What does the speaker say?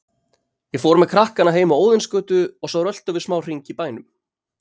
Ég fór með krakkana heim á Óðinsgötu og svo röltum við smá hring í bænum.